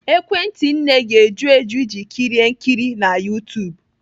Ekwentị nne ga-eju eju iji kirie nkiri na YouTube?